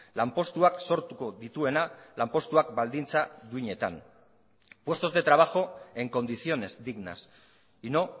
lanpostuak sortuko dituena lanpostuak baldintza duinetan puestos de trabajo en condiciones dignas y no